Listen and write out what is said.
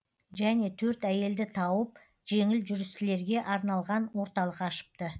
және төрт әйелді тауып жеңіл жүрістілерге арналған орталық ашыпты